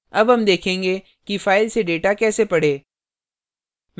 अब हम देखेंगे कि फाइल से data कैसे पढ़ें